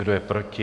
Kdo je proti?